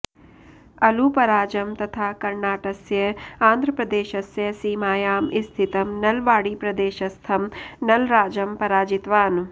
अळुपराजं तथा कर्णाटस्य आन्ध्रप्रदेशस्य सीमायां स्थितं नळवाडीप्रदेशस्थं नळराजं पराजितवान्